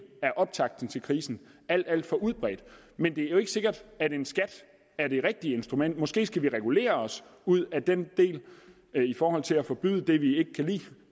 af optakten til krisen har alt for udbredt men det er jo ikke sikkert at en skat er det rigtige instrument måske skal vi regulere os ud af den del i forhold til at forbyde det vi ikke kan lide